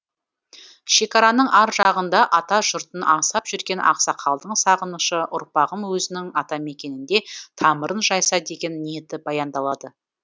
шекараның ар жағында ата жұртын аңсап жүрген ақсақалдың сағынышы ұрпағым өзінің атамекенінде тамырын жайса деген ниеті баяндалады